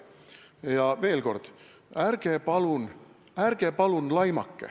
Ja veel kord, ärge palun laimake!